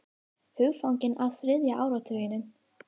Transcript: Hugfangin af þriðja áratugnum